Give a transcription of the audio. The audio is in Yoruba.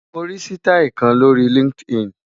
Mo rí sítáì kan lórí LinkedIn.